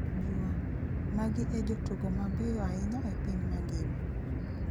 (jua) magi e jotugo mabeyo ahinya e piny mangima?